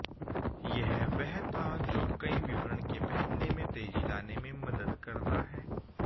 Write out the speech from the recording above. यह वह था जो कई विवरण के पहनने में तेजी लाने में मदद करता है